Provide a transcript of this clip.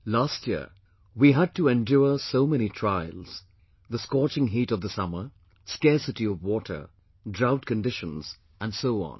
Last year, we had to endure so many trials the scorching heat of the summer, scarcity of water, drought conditions and so on